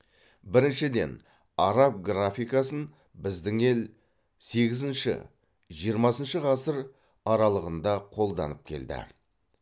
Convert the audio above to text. біріншіден араб графикасын біздің ел сегізінші жиырмасыншы ғасыр аралығында қолданып келді